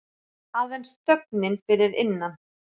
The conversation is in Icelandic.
Aðeins þögnin fyrir innan.